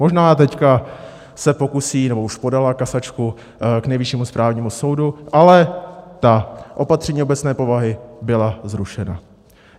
Možná teď se pokusí, nebo už podala kasačku k Nejvyššímu správnímu soudu, ale ta opatření obecné povahy byla zrušena.